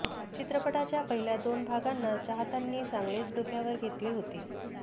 चित्रपटाच्या पहिल्या दोन भागांना चाहत्यांनी चांगलेच डोक्यावर घेतले होते